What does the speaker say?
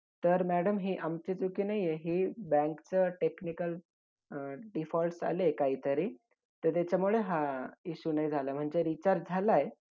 आणि नंतर आ आपल मराठी अध्यक्ष प ऐकले तर नारायनचद आखबरकर एकोणीसशे रोजी. नंतर पाहिलं राष्ट्र गीत गायल गेल